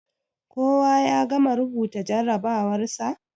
Koya ya gama rubuta jarrabawarsa?